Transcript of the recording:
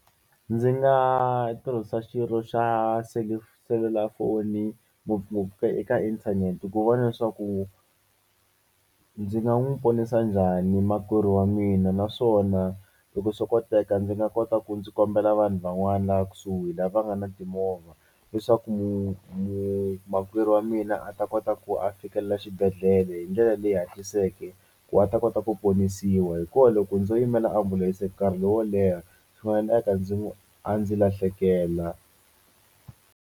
Ndzi nga tirhisa xirho xa selulafoni ngopfungopfu ka eka inthanete ku vona leswaku ndzi nga n'wu ponisa njhani makwerhu wa mina naswona loko swi koteka ndzi nga kota ku ndzi kombela vanhu van'wani laha kusuhi lava nga na timovha leswaku makwerhu wa mina a ta kota ku a fikelela xibedhlele hi ndlela leyi hatliseke ku a ta kota ku ponisiwa hikuva loko ndzo yimela ambulense nkarhi lowo leha swi nga endleka ndzi a ndzi lahlekela.